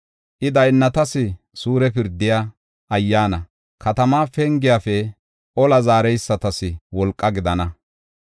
I daynnatas suure pirdiya ayyaana, katamaa pengiyafe ola zaareysatas wolqa gidana.